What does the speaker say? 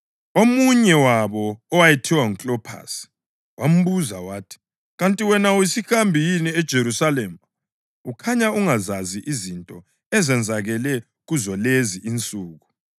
Omunye wabo owayethiwa nguKlophasi wambuza wathi, “Kanti wena uyisihambi yini eJerusalema ukhanya ungazazi izinto ezenzakele kuzolezi insuku?”